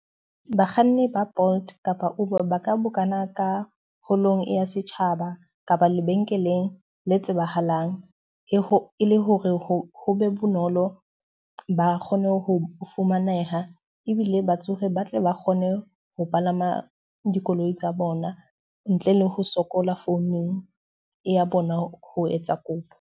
Bakganni ba Bolt kapa Uber ba ka bokana ka holong ya setjhaba kapa lebenkeleng le tsebahalang. E ho e le hore ho be bonolo ba kgone ho fumaneha ebile batsofe ba tle ba kgone ho palama dikoloi tsa bona ntle le ho sokola founung e ya bona ho etsa kopo.